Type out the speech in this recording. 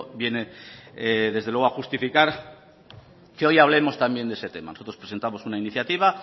viene desde luego a justificar que hoy hablemos también de ese tema nosotros presentamos una iniciativa